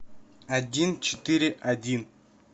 один четыре один